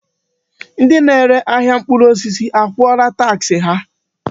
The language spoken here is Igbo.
Ndị na-ere ahịa mkpụrụ osisi akwụọla taksị ha?